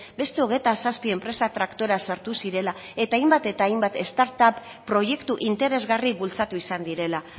beste hogeita zazpi enpresa traktora sartu zirela eta hainbat eta hainbat start up proiektu interesgarri bultzatu izan direla